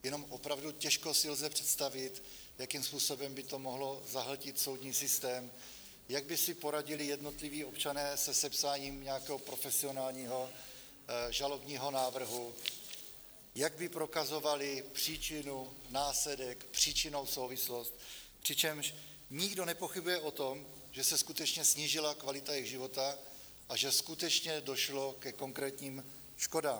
Jenom opravdu těžko si lze představit, jakým způsobem by to mohlo zahltit soudní systém, jak by si poradili jednotliví občané se sepsáním nějakého profesionálního žalobního návrhu, jak by prokazovali příčinu, následek, příčinnou souvislost, přičemž nikdo nepochybuje o tom, že se skutečně snížila kvalita jejich života a že skutečně došlo ke konkrétním škodám.